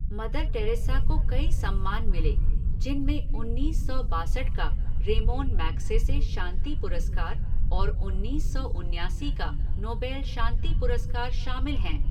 Mother Teresa को कई सम्मान मिले जिनमें उन्नीस सौ बासठ का रेमोन मैग्सेसे शांति पुरस्कार और उन्नीस सौ उन्यासी का नोबेल शांति पुरस्कार शामिल हैं।